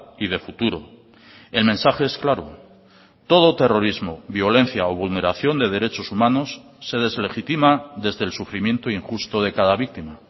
y de futuro el mensaje es claro todo terrorismo violencia o vulneración de derechos humanos se deslegitima desde el sufrimiento injusto de cada víctima